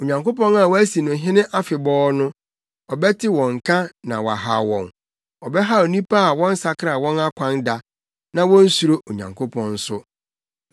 Onyankopɔn a wɔasi no hene afebɔɔ no, ɔbɛte wɔn nka na wahaw wɔn, ɔbɛhaw nnipa a wɔnsakra wɔn akwan da na wonsuro Onyankopɔn nso.